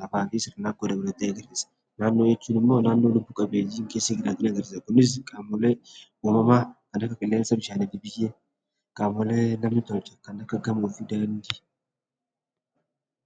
lafaa fi sirnaakkoo dabalatee jechuu dha. Naannoo jechuun immoo naannoo lubbu qabeeyyiin keessa jiran kan agarsiisani. Kunis qaamoleen uumamaa kan akka qilleensa, bishaan fi biyyee qaamolee namni tolche kan akka gamoo fi daandii.